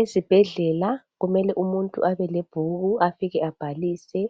Ezibhedlela kumele umuntu abelebhuku afike abhalise,